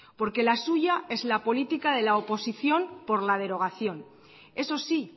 porque la suya es la política de la oposición por la derogación eso sí